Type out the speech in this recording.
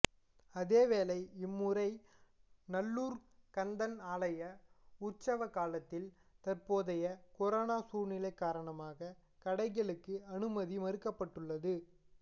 அதேவேளை இம்முறை நல்லூர்க் கந்தன் ஆலய உற்சவ காலத்தில் தற்போதைய கொரோனா சூழ்நிலை காரணமாக கடைகளுக்கு அனுமதி மறுக்கப்பட்டுள்ளது